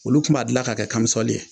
Olu tun b'a dilan ka kɛ kamisɔli ye